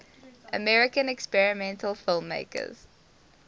american experimental filmmakers